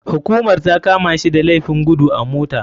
Hukumar takamashi da laifin gudu a mota.